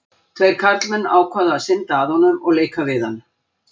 Tveir karlmenn ákváðu að synda að honum og leika við hann.